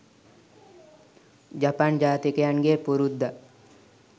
ජපන් ජාතිකයන්ගේ පුරුද්දක්